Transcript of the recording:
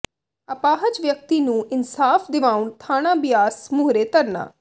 ਅਪਾਹਜ ਵਿਅਕਤੀ ਨੂੰ ਇਨਸਾਫ਼ ਦਿਵਾਉਣ ਥਾਣਾ ਬਿਆਸ ਮੂਹਰੇ ਧਰਨਾ